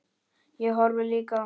Ég horfði líka á hana.